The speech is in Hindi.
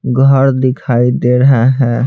घर दिखाई दे रहा है।